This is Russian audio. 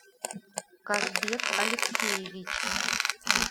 казбек алексеевич